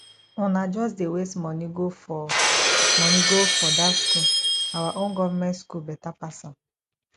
una just dey waste money go for money go for that school our own government school better pass am